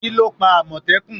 Kíló pa àmọ̀tẹ́kùn?